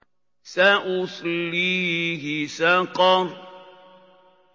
سَأُصْلِيهِ سَقَرَ